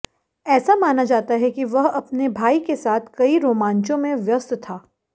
ऐसा माना जाता है कि वह अपने भाई के साथ कई रोमांचों में व्यस्त था